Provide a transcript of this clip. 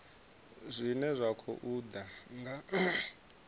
zwine zwa khou ḓa nga